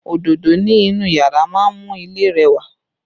Òdodo ni inú yàrá máa ń mú ilé rẹwà